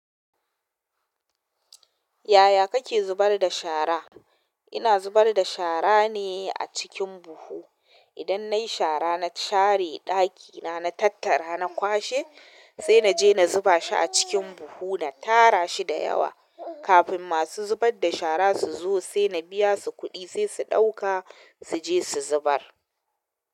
Yaya kake zubar da shara? Ina zubar da shara ne a cikin buhu. Idan nayi shara na share ɗakina, na tattara, na kwashe sai naje na zuba shi a cikin buhu na tara shi da yawa kafin masu zubar da shara su zo sai na biya su kuɗi sai su ɗauka suje su zubar.